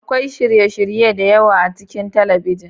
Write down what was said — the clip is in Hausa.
Akwai shirye-shirye da yawa a cikin talabijin.